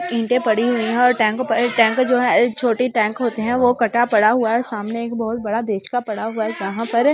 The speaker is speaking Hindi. ईंटे पड़ी हुई हैं और टैंको पर टैंक जो हैं छोटी टैंक होते हैं वो कटा पड़ा हुआ है सामने एक बहोत बड़ा देश का पड़ा हुआ है जहां पर--